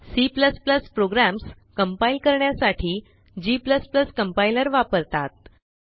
C programs compile करण्यासाठी g compiler वापरतात